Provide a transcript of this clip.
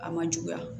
A man juguya